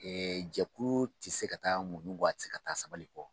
Ɛɛ jɛkulu tɛ se ka taa muɲu kɔ a tɛ ka taa sabali kɔ